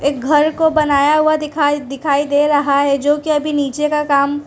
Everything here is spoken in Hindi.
घर को बनाया हुआ दिखाई दिखाई दे रहा है जो कि अभी नीचे का काम--